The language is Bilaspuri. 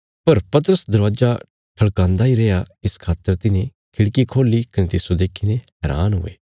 पर पतरस दरवाजा ठल़कांदा इ रैया इस खातर तिन्हें खिड़की खोल्ली कने तिस्सो देखीने हैरान हुये